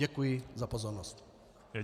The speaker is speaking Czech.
Děkuji za pozornost.